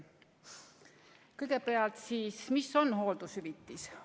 Kõigepealt, mis on hooldushüvitis?